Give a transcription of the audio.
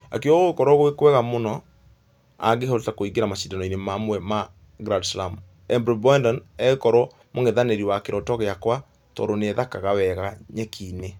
Akĩuga gũgũkorwo gwĩ kwega mũni angĩhota kũingĩra mashidano mamwe ma grand slam , eimbledon agĩkorwo mũngethanĩri wa kĩroto giakwa tũndũ nĩthakaga wega nyekinĩ.